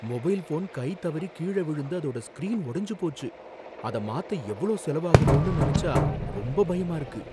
Mobile phone கை தவறி கீழ விழுந்து அதோட ஸ்கிரீன் உடைஞ்சு போச்சு, அத மாத்த எவ்ளோ செலவாகுமோனு நெனச்சா ரொம்ப பயமா இருக்கு.